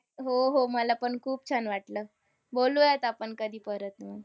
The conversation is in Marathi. हो हो. मला पण खूप छान वाटलं. बोलूयात आपण कधी परत मग.